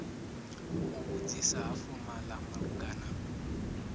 u vhudzisa ha fomala malugana